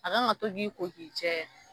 A kan ka to k'i ko k'i cɛ.